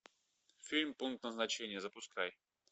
фильм пункт назначения запускай